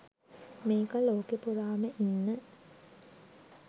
මේක ලෝකෙ පුරාම ඉන්න